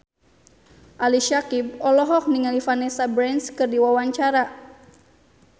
Ali Syakieb olohok ningali Vanessa Branch keur diwawancara